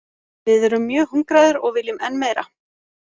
Við erum mjög hungraðir og viljum enn meira.